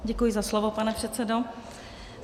Děkuji za slovo, pane předsedo.